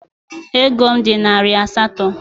Ego m dị narị asatọ.